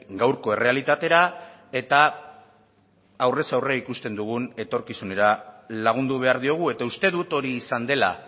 gaurko errealitatera eta aurrez aurre ikusten dugun etorkizunera lagundu behar diogu eta uste dut hori izan dela